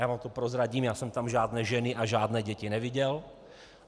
Já vám to prozradím - já jsem tam žádné ženy a žádné děti neviděl.